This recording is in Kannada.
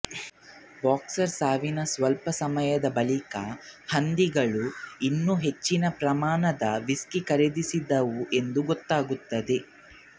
ಬಾಕ್ಸರ್ ಸಾವಿನ ಸ್ವಲ್ಪ ಸಮಯದ ಬಳಿಕ ಹಂದಿಗಳು ಇನ್ನು ಹೆಚ್ಚಿನ ಪ್ರಮಾಣದ ವಿಸ್ಕಿ ಖರೀದಿಸಿದವು ಎಂದು ಗೊತ್ತಾಗುತ್ತದೆ